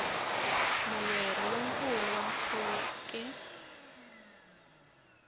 mulweri lo nkulu wa ntshuke